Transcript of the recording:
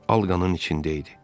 Al qanın içində idi.